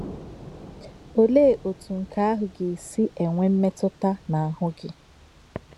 Olè̄ òtú̄ nkè̄ àhụ̄ gā-èsí̄ ènwè̄ mmètú̄tà n’áhú̄́ gị̄?